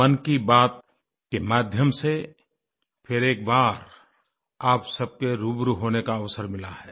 मन की बात के माध्यम से फिर एक बार आप सबसे रूबरू होने का अवसर मिला है